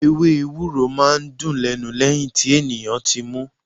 Ewé Ewúro máa ń dùn lẹ́nu lẹ́yìn tí ènìyàn ti mú.